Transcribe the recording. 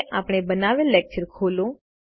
હવે આપણે બનાવેલ લેકચર ખોલો